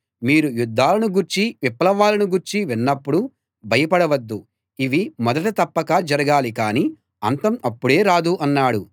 మీరు యుద్ధాలను గూర్చీ విప్లవాలను గూర్చీ విన్నప్పుడు భయపడవద్దు ఇవి మొదట తప్పక జరగాలి కాని అంతం అప్పుడే రాదు అన్నాడు